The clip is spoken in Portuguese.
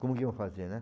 Como que iam fazer, né?